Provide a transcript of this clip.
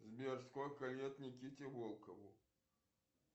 сбер сколько лет никите волкову